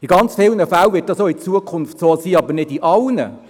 – In ganz vielen Fällen wird dies auch in Zukunft so sein, aber nicht in allen.